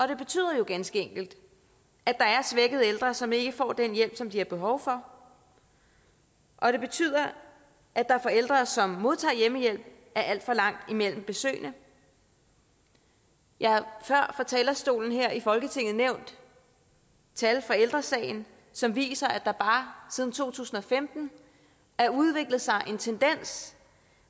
det betyder jo ganske enkelt at der er svækkede ældre som ikke får den hjælp som de har behov for og det betyder at der for ældre som modtager hjemmehjælp er alt for langt imellem besøgene jeg har før fra talerstolen her i folketinget nævnt tal fra ældre sagen som viser at der bare siden to tusind og femten har udviklet sig en tendens